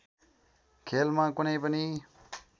खेलमा कुनै पनि